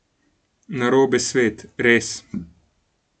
Narobe svet, res.